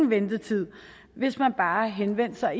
ventetid hvis man bare henvendte sig